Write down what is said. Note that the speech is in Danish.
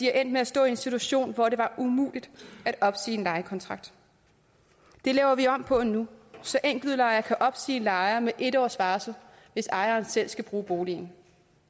er endt med at stå i en situation hvor det var muligt at opsige en lejekontrakt det laver vi om på nu så enkeltudlejere kan opsige lejere med en års varsel hvis ejeren selv skal bruge boligen